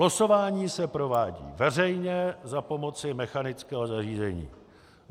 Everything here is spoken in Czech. Losování se provádí veřejně za pomoci mechanického zařízení.